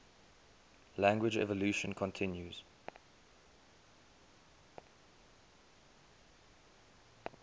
language evolution continues